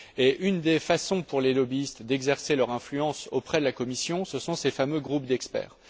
Et une des façons pour les lobbyistes d'exercer leur influence auprès de la Commission, ce sont ces fameux groupes d'experts.